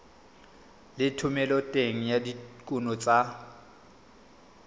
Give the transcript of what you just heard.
le thomeloteng ya dikuno tsa